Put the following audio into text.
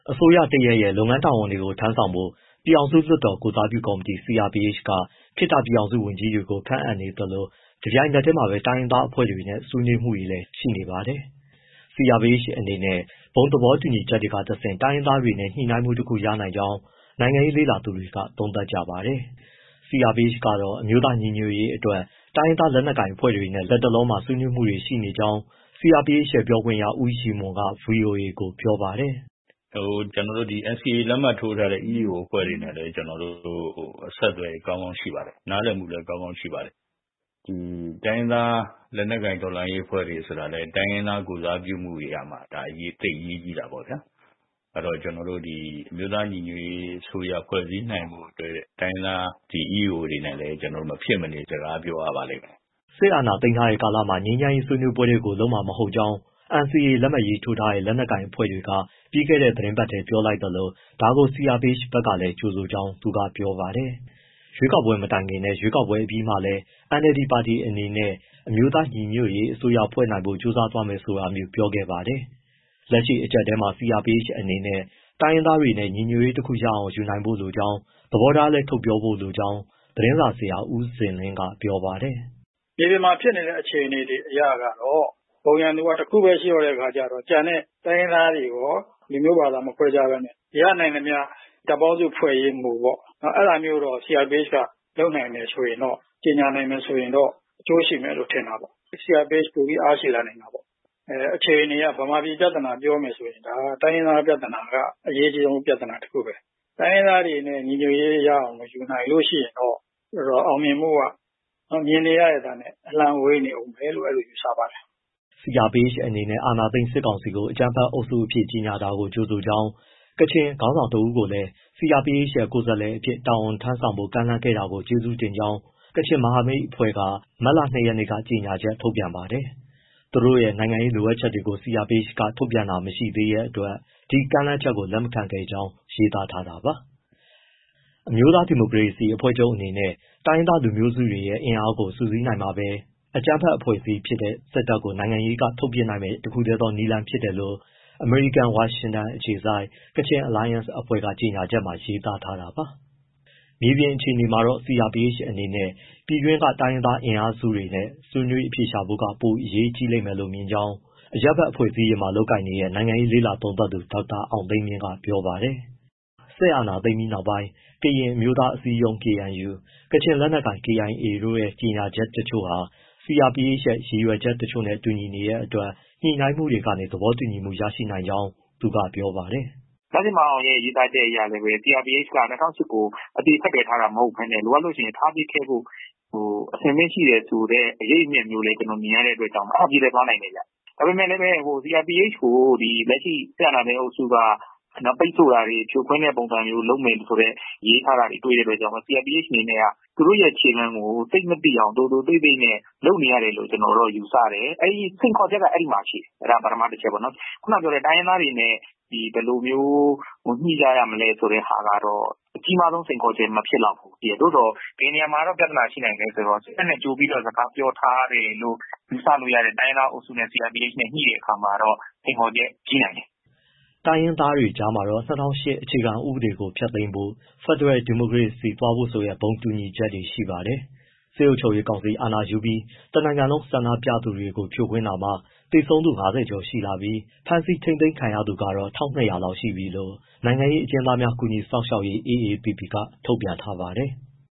အစိုးရတရပ်ရဲ့ လုပ်ငန်းတာဝန်တွေ လုပ်ဆောင်ဖို့ ပြည်ထောင်စုလွှတ်တော် ကိုယ်စားပြုကော်မတီ CRPH က ခေတ္တပြည်ထောင်စုဝန်ကြီးတွေ ခန့်အပ်နေသလို တပြိုင်နက်တည်းမှာပဲ တိုင်းရင်းသားအဖွဲ့တွေနဲ့ ဆွေးနွေးမှုတွေလည်း ရှိနေပါတယ်။ CRPH အနေနဲ့ ဘုံသဘော တူညီချက်တွေကတဆင့် တိုင်းရင်းသားတွေနဲ့ ညှိနှိုင်းမှုတခု ရနိုင်ကြောင်း နိုင်ငံရေးလေ့လာသူတွေက သုံးသပ်ကြပါတယ်။ CRPH ကတော့ အမျိုးသားညီညွတ်ရေးအတွက် တိုင်းရင်းသား လက်နက်ကိုင် အဖွဲ့တွေနဲ့ လက်တလောမှာ ဆွေးနွေးမှုတွေ ရှိနေကြောင်း CRPH ရဲ့ ပြောခွင့်ရ ဦးရည်မွန်က ဗွီအိုအေကို ပြောပါတယ်။ “ကျနော်တို့ NCA လက်မှတ်ထိုးထားတဲ့ (လူမျိုးစု လက်နက်ကိုင်) EAO အဖွဲ့တွေနဲ့ အဆက်အသွယ် ကောင်းကောင်း ရှိပါတယ်။ နားလည်မှုလည်း ကောင်းကောင်းရှိပါတယ်။ တိုင်းရင်းသား လက်နက်ကိုင် တော်လှန်ရေးအဖွဲ့တွေဆိုတာလည်း တိုင်းရင်းသား ကိုယ်စားပြုနေရာမှာ သိပ်အရေးကြီးတာပေါ့ဗျာ။ အဲဒီတော့ အမျိုးသားညီညွတ်ရေးအစိုးရ ဖွဲ့စည်းနိုင်ဖို့ တိုင်းရင်းသား EAO တွေနဲ့လည်း ကျနော်တို့ မဖြစ်မနေ စကားပြောရပါလိမ့်မယ်။” စစ်အာဏာသိမ်းထားတဲ့ကာလမှာ ငြိမ်းချမ်းရေး ဆွေးနွေးပွဲတွေကို လုပ်မှာ မဟုတ်ကြောင်း NCA လက်မှတ်ရေးထိုးထားတဲ့ လက်နက်ကိုင်အဖွဲ့တွေက ပြီးခဲ့တဲ့ သီတင်းပတ်ထဲ ပြောလိုက်သလို ဒါကို CRPH ဘက်ကလည်း ကြိုဆိုကြောင်း သူကပြောပါတယ်။ ရွေးကောက်ပွဲမတိုင်ခင်နဲ့ ရွေးကောက်ပွဲအပြီးမှာလည်း NLD ပါတီအနေနဲ့ အမျိုးသား ညီညွတ်ရေးအစိုးရ ဖွဲ့နိုင်ဖို့ ကြိုးစားသွားမယ်ဆိုမျိုး ပြောခဲ့ပါတယ်။ လက်ရှိ အကြပ်အတည်းမှာ CRPH အနေနဲ့ တိုင်းရင်းသားတွေနဲ့ ညီညွတ်ရေး တခု ရအောင်ယူနိုင်ဖို့လိုကြောင်း၊ သဘောထားလည်း ထုတ်ပြောဖို့လိုကြောင်း သတင်းစာဆရာ ဦးဇင်လင်းက ပြောပါတယ်။ “မြေပြင်မှာ ဖြစ်နေတဲ့ အခြေအနေတွေ အရကတော့ ဘုံရန်သူက တခုပဲ ရှိတော့တဲ့အခါ ကျတော့ ကျန်တဲ့တိုင်းရင်းသားတွေရော လူမျိုး၊ ဘာသာ မခွဲခြားဘဲ ရနိုင်သမျှ တပ်ပေါင်းစုဖွဲ့ရေးမူပေါ့။ အဲဒါမျိုးကို CRPH က လုပ်နိုင်တယ်ဆိုရင်တော့၊ ကြေညာနိုင်တယ် ဆိုရင်တော့ အကျိုးရှိမယ်လို့ ထင်တာပေါ့။ CRPH ပိုပြီး အားရှိလာနိုင်တာပေါ့။ အခြေအနေအရ ဗမာပြည်ပြဿနာ ပြောရမယ်ဆိုရင် တိုင်းရင်းသား ပြဿနာက အရေးအကြီးဆုံး ပြဿနာတခုပဲ။ တိုင်းရင်းသားတွေနဲ့ ညီညွတ်ရေး ရအောင် မယူနိုင်ဘူးဆိုရင်တော့ အောင်မြင်မှုက မြင်နေရတဲ့အတိုင်းပဲ အလှမ်းဝေးနေဦးမယ်လို့ ယူဆပါတယ်။” CRPH အနေနဲ့ အာဏာသိမ်း စစ်ကောင်စီကို အကြမ်းဖက်အုပ်စုအဖြစ် ကြေညာတာကို ကြိုဆိုကြောင်း ကချင်ခေါင်းဆောင်တဦးကိုလည်း CRPH ရဲ့ ကိုယ်စားလှယ်အဖြစ် တာဝန်ထမ်းဆောင်ဖို့ ကမ်းလှမ်းခဲ့တာကိုလည်း ကျေးဇူးတင်ကြောင်း ကချင်မဟာမိတ်အဖွဲ့ (Kachin Alliance) က မတ်လ ၂ ရက်က ကြေညာချက် ထုတ်ပြန်ပါတယ်။ သူတို့ရဲ့ နိုင်ငံရေး လိုအပ်ချက်တွေကို CRPH က ထုတ်ပြန်တာ မရှိသေးတဲ့အတွက် ဒီကမ်းလှမ်းချက်ကို လက်မခံခဲ့ကြောင်း ရေးသားထားတာပါ။ အမျိုးသား ဒီမိုကရေစီအဖွဲ့ချုပ်အနေနဲ့ တိုင်းရင်းသား လူမျိုးစုတွေရဲ့ အင်အားကို စုစည်းနိုင်မှပဲ အကြမ်းဖက်အဖွဲ့အစည်းဖြစ်တဲ့ စစ်တပ်ကို နိုင်ငံရေးကနေ ထုတ်ပစ်နိုင်မယ့် တခုတည်းသောနည်းလမ်း ဖြစ်တယ်လို့ အမေရိကန် ဝါရှင်တန်ဒီစီ အခြေစိုက် Kachin Alliance အဖွဲ့ ကြေညာချက်မှာ ရေးသားထားတာပါ။ မြေပြင်အခြေအနေမှာတော့ CRPH အနေနဲ့ ပြည်တွင်းက တိုင်းရင်းသား အင်အားစုတွေနဲ့ ဆွေးနွေးအဖြေရှာတာက ပိုအရေးကြီးမယ်လို့ မြင်ကြောင်း အရပ်ဘက်အဖွဲ့အစည်းတွေမှာ လုပ်ကိုင်နေတဲ့ နိုင်ငံရေးလေ့လာသုံးသပ်သူ ဒေါက်တာအောင်သိန်းမြင့်က ပြောပါတယ်။ စစ်အာဏာသိမ်းပြီးနောက်ပိုင်း ကရင်အမျိုးသားအစည်းအရုံး KNU၊ ကချင်လက်နက်ကိုင် KIA တို့ရဲ့ ကြေညာချက်တချို့ဟာ CRPH ရဲ့ ရည်ရွယ်ချက်တချို့နဲ့ တူညီနေတဲ့အတွက် ညှိနှိုင်းမှုတွေကနေ သဘောတူညီမှုရနိုင်ကြောင်း သူကပြောပါတယ်။ “မဇင်မာအောင် (ခေတ္တနိုင်ငံခြားရေးဝန်ကြီး) ရဲ့ ရေးသားချက်အရလည်း CRPH က ၂၀၀၈ (အခြေခံဥပဒေကို) အသေဖက်တွက်ထားတာ မဟုတ်ဘဲနဲ့ လိုအပ်ရင် ထားပစ်ခဲ့ဖို့ အဆင်သင့်ရှိတယ်ဆိုတဲ့ အရိပ်အမြွက်မျိုးလည်း မြင်ရတဲ့အတွက်ကြောင့်မို့ အဲဒီလိုလည်း သွားနိုင်တယ်။ ဒါပေမဲ့ CRPH ကို စစ်အာဏာသိမ်း အုပ်စုက ပိတ်ဆို့တာတွေ၊ ဖြိုခွင်းတဲ့ပုံစံမျိုး လုပ်မယ်ဆိုတဲ့ ရေးထားတာတွေ တွေ့တဲ့အတွက်ကြောင့် CRPH အနေနဲ့ သူတို့ခြေလှမ်းကို သိပ်မသိအောင် သိုသိုသိပ်သိပ် လုပ်နေရတယ်လို့ ကျနော်ယူဆတယ်။ စိန်ခေါ်ချက်က အဲဒီမှာရှိတယ်။ အဲဒါပထမ တချက်ပေါ့။ တိုင်းရင်းသားတွေနဲ့ ဘယ်လိုမျိုး ညှိကြရမလဲဆိုတဲ့ဟာကတော့ အကြီးမားဆုံး စိန်ခေါ်ချက် မဖြစ်လောက်ဘူး။ သို့သော် ဘယ်နေရာမှာ ပြဿနာ ရှိနိုင်လဲဆိုတော့ စစ်တပ်နဲ့ ကြိုပြီး စကားပြောထားတယ်လို့ ယူဆလို့ရတဲ့ တိုင်းရင်းသားအုပ်စုနဲ့ CRPH နဲ့ ညှိတဲ့ အခါမှာကျတော့ စိန်ခေါ်ချက် ကြီးနိုင်တယ်။” တိုင်းရင်းသားတွေကြားမှာတော့ ၂၀၀၈ အခြေခံဥပဒေကို ဖျက်သိမ်းဖို့၊ ဖက်ဒရယ် ဒီမိုကရေစီသွားဖို့ဆိုတဲ့ ဘုံတူညီချက်တွေ ရှိပါတယ်။ စစ်အုပ်ချုပ်ရေး ကောင်စီ အာဏာယူပြီး တနိုင်ငံလုံးက ဆန္ဒပြသူတွေကို ဖြိုခွင်းတာမှာ သေဆုံးသူ ၅၀ ကျော်ရှိလာပြီး ဖမ်းဆီးထိန်းသိမ်း ခံရသူကတော့ ၁,၂၀၀ လောက်ရှိပြီလို့ နိုင်ငံရေးအကျဉ်းသားများ ကူညီစောင့်ရှောက်ရေး AAPP က ထုတ်ပြန်ထားပါတယ်။